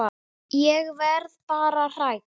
Ég verð bara hrædd.